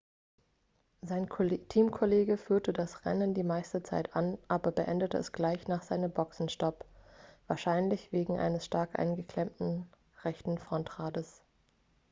sein teamkollege führte das rennen die meiste zeit an aber beendete es gleich nach seinem boxenstopp wahrscheinlich wegen eines stark eingeklemmten rechten frontrades